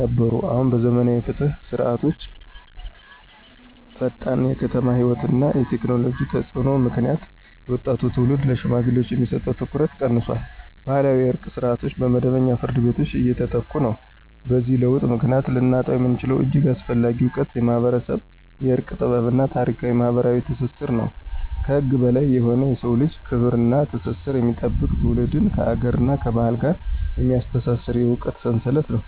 ነበሩ። አሁን በዘመናዊ የፍትህ ስርዓቶችዐፈጣን የከተማ ሕይወት እና የቴክኖሎጂ ተፅዕኖ ምክንያት የወጣቱ ትውልድ ለሽማግሌዎች የሚሰጠው ትኩረት ቀንሷል። ባህላዊ የእርቅ ስርዓቶች በመደበኛ ፍርድ ቤቶች እየተተኩ ነው። በዚህ ለውጥ ምክንያት ልናጣው የምንችለው እጅግ አስፈላጊ እውቀት የማኅበረሰብ የእርቅ ጥበብ እና ታሪካዊ ማኅበራዊ ትስስር ነው። ከህግ በላይ የሆነ የሰውን ልጅ ክብር እና ትስስር የሚጠብቅ፣ ትውልድን ከአገርና ከባህል ጋር የሚያስተሳስር የእውቀት ሰንሰለት ነው።